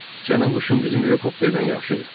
Sənin quşun bizim helikopterdən yaxşıdır.